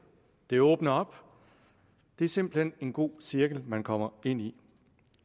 det åbner op det er simpelt hen en god cirkel man kommer ind i